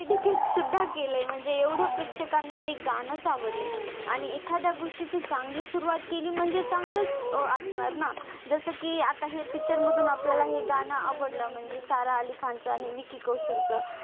सुद्धा केलंय म्हणजे एवढं प्रेक्षकांना ते गाणंच आवडलंय आणि एखाद्या गोष्टीची चांगली सुरवात केली म्हणजे चांगलंच अं असणार ना जसं की आता हे picture मधून आपल्याला हे गाणं आवडलं म्हणजे सारा अली खानचं आणि विकी कौशलचं,